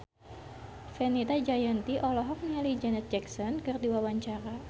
Fenita Jayanti olohok ningali Janet Jackson keur diwawancara